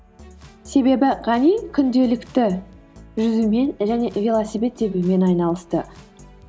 себебі ғани күнделікті жүзумен және велосипед тебумен айнасысты